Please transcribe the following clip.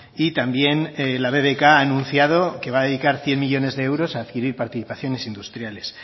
y también la bbk ha anunciado que va a dedicar cien millónes de euros a adquirir participaciones industriales